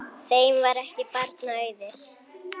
Þeim var ekki barna auðið.